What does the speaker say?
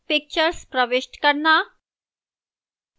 pictures प्रविष्ट करना